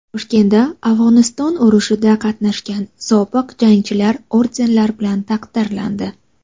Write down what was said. Toshkentda Afg‘oniston urushida qatnashgan sobiq jangchilar ordenlar bilan taqdirlandi.